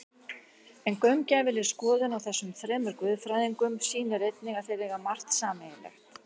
En gaumgæfileg skoðun á þessum þremur guðfræðingum sýnir einnig að þeir eiga margt sameiginlegt.